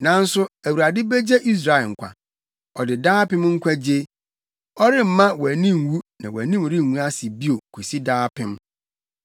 Nanso Awurade begye Israel nkwa, ɔde daapem nkwagye; wɔremma wʼani nwu na wʼanim rengu ase bio kosi daapem.